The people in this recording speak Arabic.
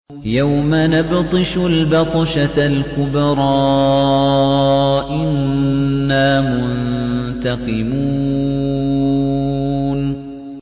يَوْمَ نَبْطِشُ الْبَطْشَةَ الْكُبْرَىٰ إِنَّا مُنتَقِمُونَ